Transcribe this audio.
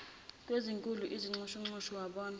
kwezinkulu izinxushunxusu wabona